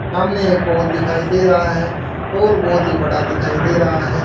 सामने एक होल दिखाई दे रहा है होल बहोत ही बड़ा दिखाई दे रहा है।